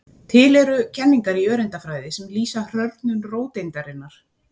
Til eru kenningar í öreindafræði sem lýsa hrörnun róteindarinnar.